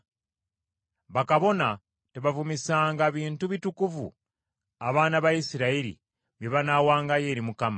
Bakabona tebavumisanga bintu bitukuvu abaana ba Isirayiri bye banaawangayo eri Mukama ,